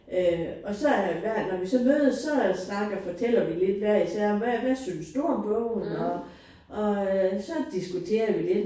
Øh og så er jeg hver når vi så mødes så snakker fortæller vi lidt hver især om hvad hvad synes du om bogen og og så diskuterer vi lidt